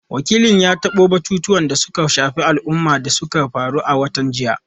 Wakilin ya tabo batutuwan da suka shafi al’umma da suka faru a watan jiya.